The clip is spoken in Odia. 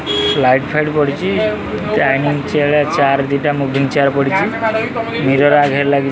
ଲାଇଟ୍ ଫାଇଟ ପଡ଼ିଚି ଡାଇନିଙ୍ଗ୍ ଚିଆର ଚାର ଦିଟା ମୋଭିଂ ଚିଆର ପଡ଼ିଚି ମିରର ଆ ଧିଅରେ ଲାଗି --